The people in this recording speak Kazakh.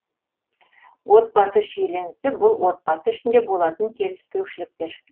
отбасы шиеленісі бұл отбасы ішінде болатын келіспеушіліктер